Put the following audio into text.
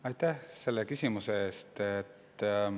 Aitäh selle küsimuse eest!